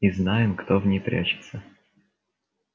и знаем кто в ней прячется